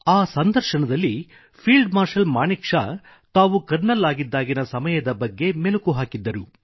ಆ ಸಂದರ್ಶನದಲ್ಲಿ field marshal Manekshaw ತಾವು ಕರ್ನಲ್ ಆಗಿದ್ದಾಗಿನ ಸಮಯದ ಬಗ್ಗೆ ಮೆಲುಕು ಹಾಕಿದ್ದರು